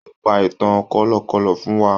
Ó pa ìtàn kọ̀lọ̀kọ̀lọ̀ fún wa.